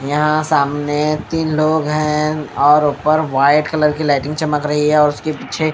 यहां सामने तीन लोग हैं और ऊपर व्हाइट कलर की लाइटिंग चमक रही है और उसके पीछे--